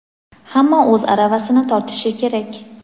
hamma o‘z aravasini tortishi kerak.